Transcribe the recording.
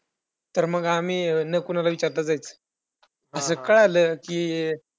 तर आम्ही न कोणाला विचारता जायचो आणि जर कळालं कि